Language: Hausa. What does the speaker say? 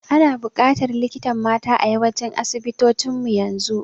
Ana bukatar likitan mata a yawancin asibitocin mu yanzu